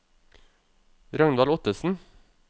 Ragnvald Ottesen